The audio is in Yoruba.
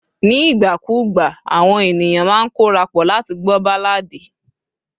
ní ìgbà kù ìgbà àwọn ènìyàn ma n korapo láti gbọ balladi